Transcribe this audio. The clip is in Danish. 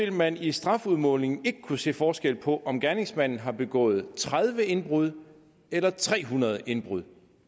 at man i strafudmålingen vil kunne se forskel på om gerningsmanden har begået tredive indbrud eller tre hundrede indbrud